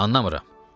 Anlamıram.